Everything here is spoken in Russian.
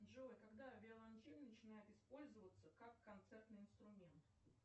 джой когда виолончель начинает использоваться как концертный инструмент